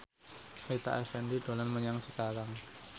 Rita Effendy dolan menyang Cikarang